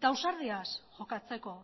eta ausardiaz jokatzeko